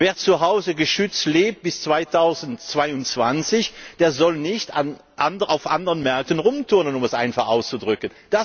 Wer zuhause geschützt lebt bis 2022, der soll nicht auf anderen Märkten rumturnen, um es einfach auszudrücken.